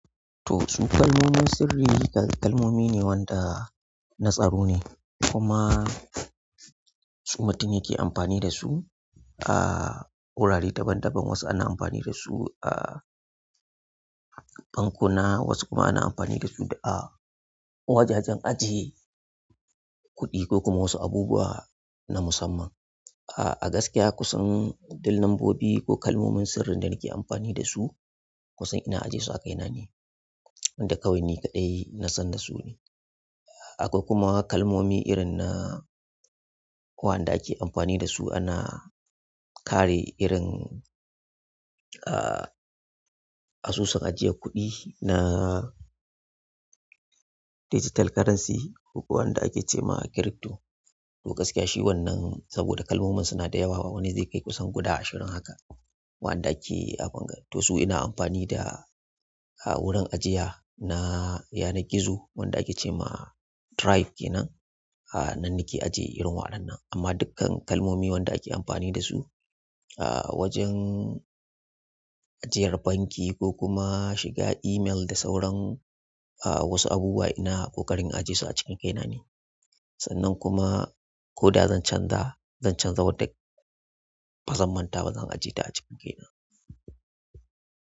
To su kalmomin sirri, kalmomi ne wanda suke na tsaro ne, a gaskiya kusan dil nombobi ko kalmomin sirrin da nake amfani da su kusan ina ajesu a kaina ne wanda kawai ni kaɗai nasan da su ne. Akwai kuma kalmomi irin na wa'anda ake amfani da su ana kare irin, ah asusun ajiye kuɗi na digital currency ko kuwa wanda ake ce ma crypto. To gaskiya shi wannan saboda kalmomin suna da yawa wani zai kai kusan guda ashirin haka waɗanda ake a bunga. To su ina amfani da a wurin ajiya na yana gizo wanda ake ce ma drive kenan. Nan nake ajiye irin waɗannan amma dukkan kalmomi wanda ake amfani da su a wajen ajiyar banki ko kuma shiga email da sauran wasu abubuwa ina ƙoƙarin ajesu a cikin kaina ne. Sannan kuma ko da zan canza, zan canza wata ba zan manta ba, zan ajiyeta a cikin kaina.